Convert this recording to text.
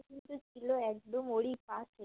ছিল একদম ওরই পাশে